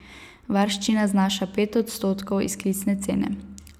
Varščina znaša pet odstotkov izklicne cene.